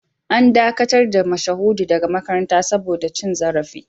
An dakatar da Mashahudu daga makaranta saboda cin zarafi